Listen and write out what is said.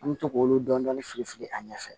An bɛ to k'olu dɔɔnin dɔɔnin fili fili a ɲɛ fɛ